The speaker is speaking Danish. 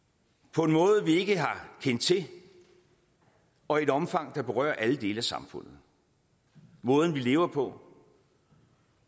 på en måde som vi ikke har kendt til og i et omfang der berører alle dele af samfundet måden vi lever på